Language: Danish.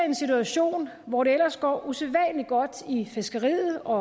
en situation hvor det ellers går usædvanlig godt i fiskeriet og